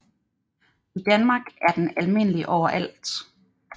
I Danmark er den almindelig overalt